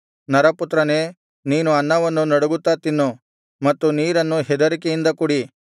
ನರಪುತ್ರನೇ ನೀನು ಅನ್ನವನ್ನು ನಡುಗುತ್ತಾ ತಿನ್ನು ಮತ್ತು ನೀರನ್ನು ಹೆದರಿಕೆಯಿಂದ ಕುಡಿ